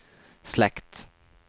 slekt